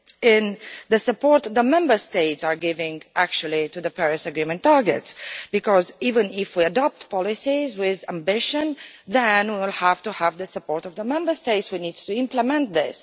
in the support that the Member States are giving to the Paris Agreement targets, because even if we adopt policies with ambition, then we have to have the support of the Member States we need to implement this.